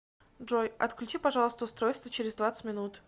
джой отключи пожалуйста устройство через двадцать минут